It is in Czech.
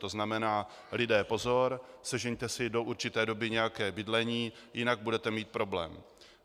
To znamená: Lidé, pozor, sežeňte si do určité doby nějaké bydlení, jinak budete mít problém.